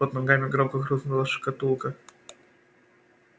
под ногами громко хрустнула шкатулка